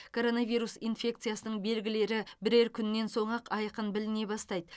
коронавирус инфекциясының белгілері бірер күннен соң ақ айқын біліне бастайды